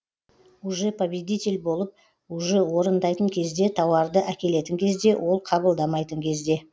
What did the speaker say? уже победитель болып уже орындайтын кезде тауарды әкелетін кезде ол қабылдамайтын кезде